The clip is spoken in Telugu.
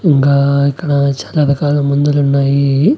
ఇంగా ఇక్కడ చాలా రకాల మందులున్నాయి.